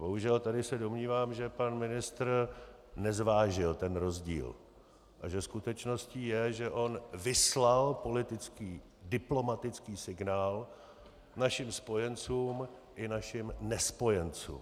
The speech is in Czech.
Bohužel, tady se domnívám, že pan ministr nezvážil ten rozdíl a že skutečností je, že on vyslal politický, diplomatický signál našim spojencům i našim nespojencům.